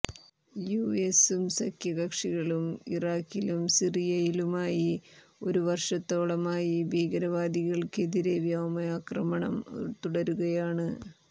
U എസും സഖ്യ കക്ഷികളും ഇറാഖിലും സിറിയയിലുമായി ഒരു വര്ഷത്തോളമായി ഭീകരവാദികള്ക്കെതിരെ വ്യോമാക്രമണം തുടരുകയാണ്